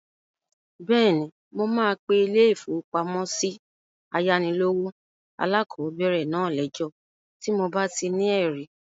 Bẹ́ẹ̀ni, mo máa pe ilé-ìfowópamọ́sí ayánilówó alákọ̀bẹ̀rẹ̀ náà lẹ́jọ́ tí mo bá ti ní ẹ̀rí